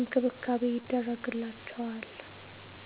እንክብካቤ ይደረግላቸዋል።